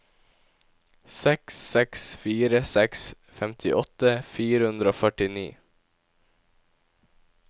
seks seks fire seks femtiåtte fire hundre og førtini